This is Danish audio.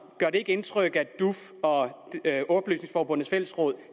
gør det ikke indtryk at duf og oplysningsforbundenes fællesråd